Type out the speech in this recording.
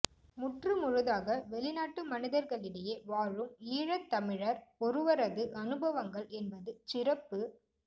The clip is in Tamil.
முற்று முழுதாக வெளிநாட்டு மனிதர்களிடையே வாழும் ஈழத் தமிழர் ஒருவரது அனுபவங்கள் என்பது சிறப்பு